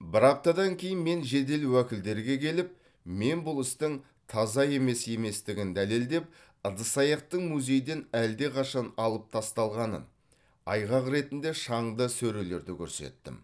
бір аптадан кейін мен жедел уәкілдерге келіп мен бұл істің таза емес еместігін дәлелдеп ыдыс аяқтың музейден әлдеқашан алып тасталғанын айғақ ретінде шаңды сөрелерді көрсеттім